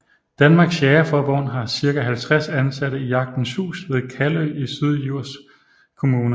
Danmarks Jægerforbund har cirka 50 ansatte i Jagtens Hus ved Kalø i Syddjurs kommune